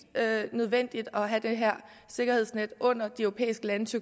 nødvendigt at have det her sikkerhedsnet under de europæiske landes